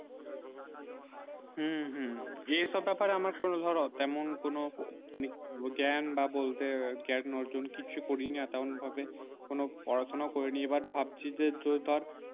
হম হম এই সব ব্যাপারে আমার শোনো ধরো তেমন কোনো মানে জ্ঞান বা বলতে জ্ঞান অর্জন কিছু কিছু করি নি তেমন ভাবে কোনো পড়া সোনাউ করি এইবার ভাবছি যে যে ধর